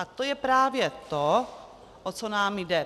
A to je právě to, o co nám jde.